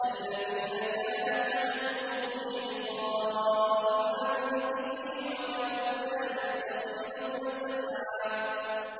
الَّذِينَ كَانَتْ أَعْيُنُهُمْ فِي غِطَاءٍ عَن ذِكْرِي وَكَانُوا لَا يَسْتَطِيعُونَ سَمْعًا